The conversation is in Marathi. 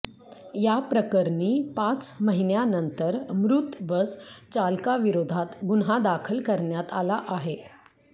याप्रकरणी पाच महिन्यानंतर मृत बस चालकाविरोधात गुन्हा दाखल करण्यात आला आहे